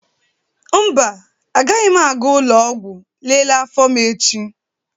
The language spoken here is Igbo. Mba, agaghị m aga ụlọ ọgwụ lelee afọ m echi.